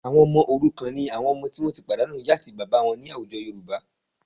Ọmọ òrukàn ni àwọn ọmọ tí wọ́n ti pàdánù ìyá àti bàbá wọn ní àwùjọ Yorùbá